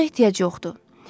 Buna ehtiyac yoxdur.